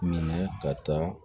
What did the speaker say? Minɛ ka taa